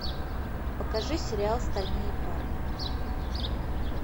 покажи сериал стальные парни